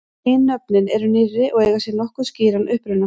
Hin nöfnin eru nýrri og eiga sér nokkuð skýran uppruna.